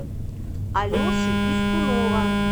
алеши пискунова